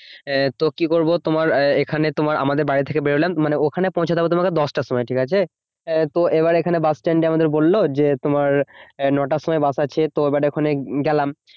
এ তো কি করবো? তোমার এখানে তোমার আমাদের বাড়ি থেকে বেরোলাম, মানে ওখানে পৌঁছতে হবে তোমার দশটার সময়, ঠিকাছে? এ তো এবার এখানে বাসস্ট্যান্ডে আমাদের বললো যে, তোমার এ নটার সময় বাস আছে। তো এবার ওখানে গেলাম।